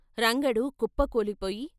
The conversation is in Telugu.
రంగడు కుప్ప కూలిపోయి.